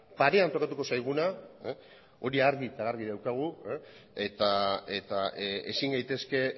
parean tokatuko zaiguna hori argi eta garbi daukagu eta ezin gaitezke